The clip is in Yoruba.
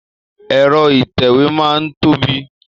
Ẹ̀rọ ìtẹ̀wé máa n tóbi.